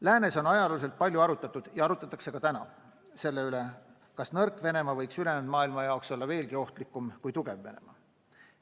Läänes on ajalooliselt palju arutatud ja arutatakse ka praegu selle üle, kas nõrk Venemaa võiks ülejäänud maailma jaoks olla veelgi ohtlikum kui tugev Venemaa.